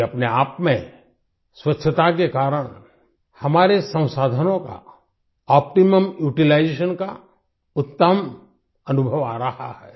ये अपने आप में स्वच्छता के कारण हमारे संसाधनों का ऑप्टिमम यूटिलाइजेशंस का उत्तम अनुभव आ रहा है